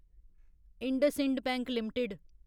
IndusInd Bank limited